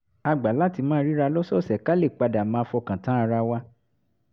a gbà láti máa ríra lọ́sọ̀ọ̀sẹ̀ ká lè pa dà máa fọkàn tán ara wa